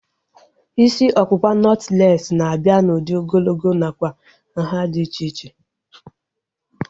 Isi ọkpụkpa nọtlees na-abịa n'udi ogologo nakwa nhá dị iche iche